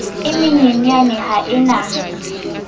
e menyenyane ha e na